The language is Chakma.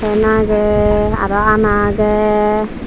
fan agey aro anna agey.